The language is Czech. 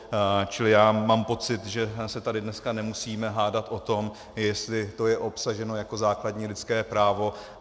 Čili já mám pocit, že se tady dneska nemusíme hádat o tom, jestli to je obsaženo jako základní lidské právo.